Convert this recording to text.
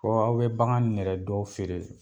aw bɛ bagan nun yɛrɛ dɔw feere.